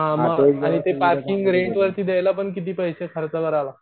हा म ते पार्किंग रेंट वरती द्यायला पण जकिती पैसे खर्च करावा लागतात